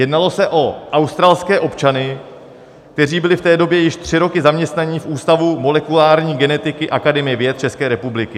Jednalo se o australské občany, kteří byli v té době již tři roky zaměstnáni v Ústavu molekulární genetiky Akademie věd České republiky.